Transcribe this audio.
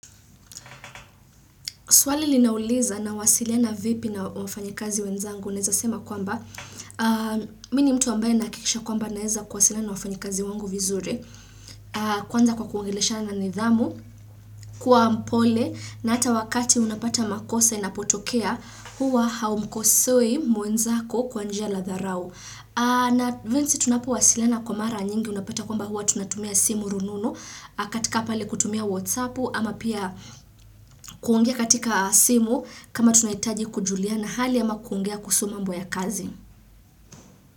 Swali linauliza nawasiliana vipi na wafanyikazi wenzangu. Naezasema kwamba, mimi ni mtu ambaye nahakikisha kwamba naeza kuwasiliana wafanyikazi wangu vizuri. Kwanza kwa kuongeleshana nidhamu, kuwa mpole, na hata wakati unapata makosa inapotokea, huwa haumkosoi mwenzako kwa njia la dharau. Na vinsi tunapowasiliana kwa mara nyingi unapata kwamba huwa tunatumia simu rununu, katika pale kutumia whatsappu, ama pia kuongea katika simu, kama tunahitaji kujuliana hali ama kuongea kuhusu mambo ya kazi.